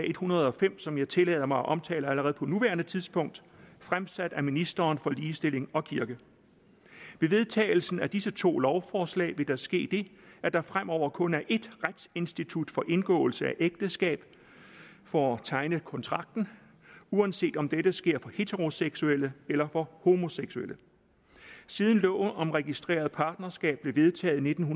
en hundrede og fem som jeg tillader mig at omtale allerede på nuværende tidspunkt fremsat af ministeren for ligestilling og kirke ved vedtagelsen af disse to lovforslag vil der ske det at der fremover kun er et retsinstitut for indgåelse af ægteskab for tegning af kontrakten uanset om dette sker for heteroseksuelle eller for homoseksuelle siden loven om registreret partnerskab blev vedtaget i nitten